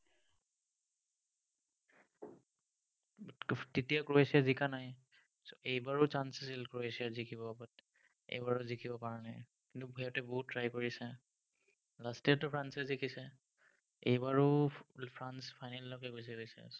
তেতিয়া ক্ৰোয়েছিয়া জিকা নাই এইবাৰো chance আছিল ক্ৰোয়েছিয়া জিকিব, but এইবাৰো জিকিব পৰা নায়। কিন্তু, সিহঁতে বহুত try কৰিছে। last year তো ফ্ৰান্সে জিকিছে। এইবাৰো ফ্ৰান্স final লৈকে গৈছে অবশ্য়ে।